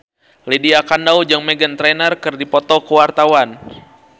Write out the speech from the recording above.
Lydia Kandou jeung Meghan Trainor keur dipoto ku wartawan